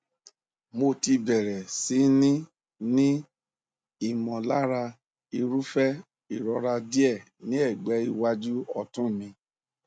mo ti bẹrẹ sí ní ní ìmọlára irúfẹ ìrora díẹ ní ẹgbẹ iwájú ọtún mi